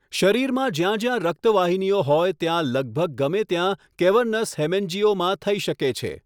શરીરમાં જ્યાં જ્યાં રક્તવાહિનીઓ હોય ત્યાં લગભગ ગમે ત્યાં કેવર્નસ હેમેન્જીઓમા થઈ શકે છે.